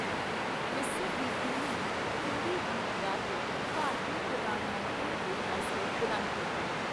ਮਿਸਰ ਦੀ ਕੁੜੀ ਨੇ ਹਿੰਦੀ ਗੀਤ ਗਾ ਕੇ ਭਾਰਤੀ ਪ੍ਰਧਾਨ ਮੰਤਰੀ ਦੇ ਹੌਂਸਲੇ ਬੁਲੰਦ ਕੀਤੇ।